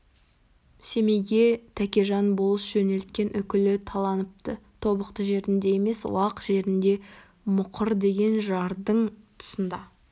семейге тәкежан болыс жөнелткен үкілі таланыпты тобықты жерінде емес уақ жерінде мұқыр деген жардың тұсында